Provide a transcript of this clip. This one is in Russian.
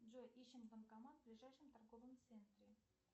джой ищем банкомат в ближайшем торговом центре